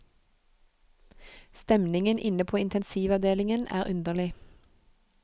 Stemningen inne på intensivavdelingen er underlig.